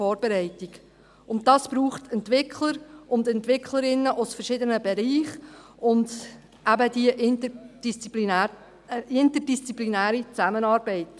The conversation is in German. Dies braucht Entwickler und Entwicklerinnen aus verschiedenen Bereichen und eben diese interdisziplinäre Zusammenarbeit.